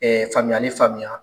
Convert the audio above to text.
faamuyali faamuya